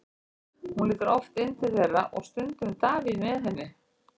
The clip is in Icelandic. Hún lítur oft inn til þeirra og stundum Davíð með henni.